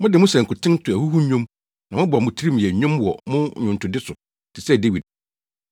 Mode mo sankuten to ahuhunnwom, na mobɔ mo tirim yɛ nnwom wɔ mo nnwontode so te sɛ Dawid.